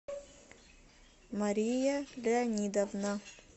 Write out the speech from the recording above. мария леонидовна